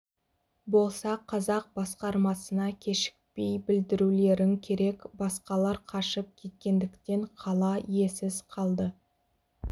болса қазақ басқармасына кешікпей білдірулерің керек басқалар қашып кеткендіктен қала иесіз қалды